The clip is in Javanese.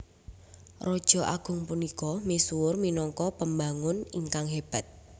Raja agung punika misuwur minangka pembangun ingkang hébat